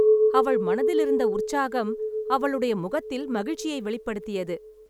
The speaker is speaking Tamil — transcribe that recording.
அவள் மனதில் இருந்த உற்சாகம் அவளுடைய முகத்தில் மகிழ்ச்சியை வெளிப்படுத்தியது.